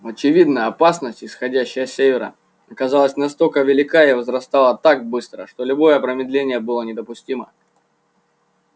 очевидно опасность исходящая с севера оказалась настолько велика и возрастала так быстро что любое промедление было недопустимо